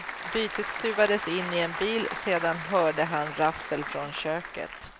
Bytet stuvades in en bil, sedan hörde han rassel från köket.